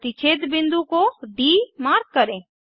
प्रतिच्छेद बिंदु को डी मार्क करें